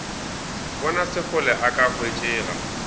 bona sekgole a ka hwetšega